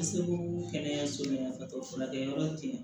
kɛnɛyaso min ka sɔrɔ furakɛ yɔrɔ te yen